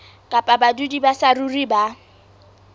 kapa badudi ba saruri ba